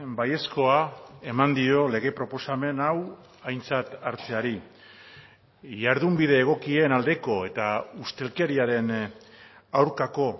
baiezkoa eman dio lege proposamen hau aintzat hartzeari jardunbide egokien aldeko eta ustelkeriaren aurkako